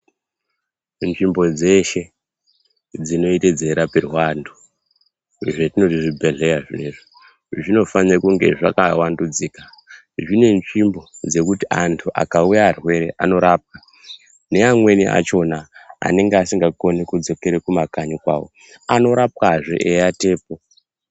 Nzvimbo dzeshe dzinoite dzeirapirwa antu zvetinoti zvibhedhlera zvona zviyani zvinofanira kunge zvakavandudzika zvekuti antu akauya arwere anorapwa neamweni achona anenge asikagoni kudzokera kumakanyi kwavo vanorapwazve veiwatapo.